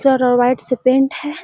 चारो और वाइट से पेंट है।